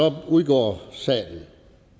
udgår sagen